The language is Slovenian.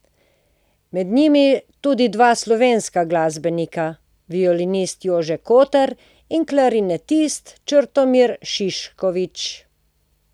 Med njimi tudi dva slovenska glasbenika, violinist Jože Kotar in klarinetist Črtomir Šiškovič.